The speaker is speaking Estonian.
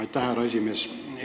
Aitäh, härra esimees!